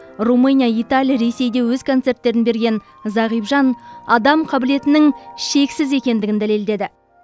румыния италия ресейде өз концерттерін берген зағип жан адам қабілетінің шексіз екендігін дәлелдеді